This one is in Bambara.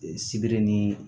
Sibiri ni